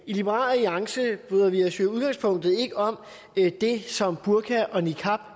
i liberal alliance bryder vi os i udgangspunktet ikke om det som burka og niqab